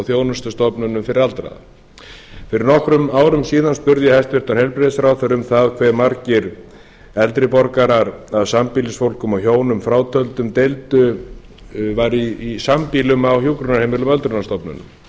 þjónustustofnunum fyrir aldraða fyrir nokkrum árum síðan spurði ég hæstvirtan heilbrigðisráðherra um það hve margir eldri borgarar að sambýlisfólki og hjónum frá töldum væru í sambýli á hjúkrunarheimilum öldrunarstofnana